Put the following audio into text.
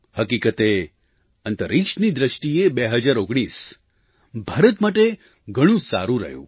હકીકતે અંતરિક્ષની દૃષ્ટિએ 2019 ભારત માટે ઘણું સારું રહ્યું